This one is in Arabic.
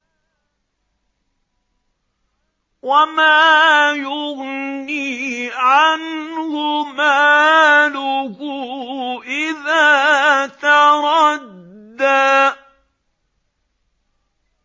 وَمَا يُغْنِي عَنْهُ مَالُهُ إِذَا تَرَدَّىٰ